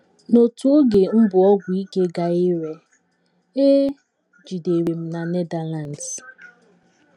N’otu oge m bu ọgwụ ike gaa ire, e jidere m na Netherlands.